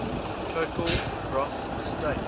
total gross state